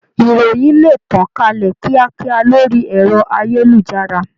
Ìròyìn le tàn kálẹ̀ kíákíá lórí ẹ̀rọ-ayélujára.